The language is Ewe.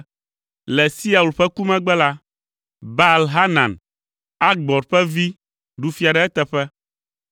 Le Siaul ƒe ku megbe la, Baal Hanan, Akbor ƒe vi ɖu fia ɖe eteƒe.